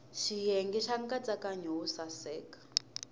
xiyenge xa nkatsakanyo wo saseka